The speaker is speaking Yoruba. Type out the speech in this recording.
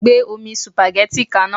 Gbé omi sùpàgẹ́tì ka iná.